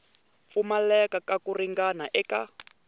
pfumaleka ka ku ringana eka